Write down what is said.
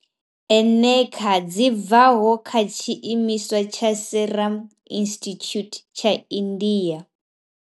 eneca dzi bvaho kha tshiimiswa tsha Serum Institute tsha India.